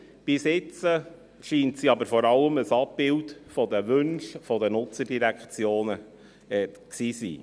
Bisher scheint sie aber vor allem ein Abbild der Wünsche der Nutzerdirektionen gewesen zu sein.